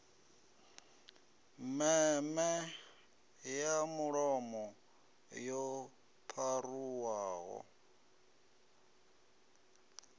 meme ya mulomo yo pharuwaho